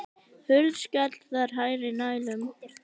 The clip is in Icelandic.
Hurð skall þar nærri hælum.